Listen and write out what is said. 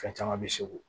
Fɛn caman bɛ se u